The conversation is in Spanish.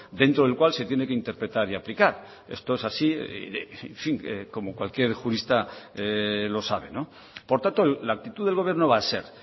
dentro del cual se tiene que interpretar y aplicar esto es así como cualquier jurista lo sabe por tanto la actitud del gobierno va a ser